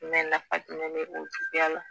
nafa jumɛn bɛ o juguya la